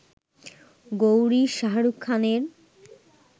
গৌরি-শাহরুখ খানের